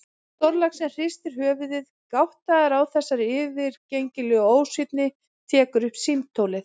Stórlaxinn hristir höfuðið, gáttaður á þessari yfirgengilegu ósvífni, tekur upp símtólið.